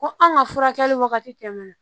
Ko an ka furakɛli wagati tɛmɛna